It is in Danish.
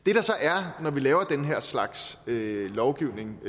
når vi så laver den her slags lovgivning